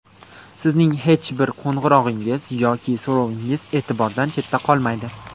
Sizning hech bir qo‘ng‘irog‘ingiz yoki so‘rovingiz e’tibordan chetda qolmaydi.